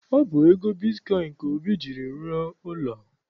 Ọ bụ ego bitkọịn ka Obi jiiri rụọ ụlọ.